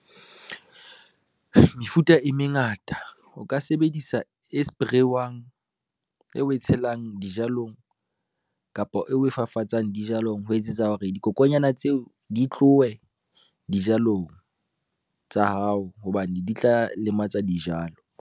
Mefuta e mengata o ka sebedisa e spray-wang, eo we tshelang dijalong, kapa eo we fafatsang dijalong, ho etsetsa hore dikokonyana tseo di tlowe dijalong tsa hao hobane di tla lematsa dijalo.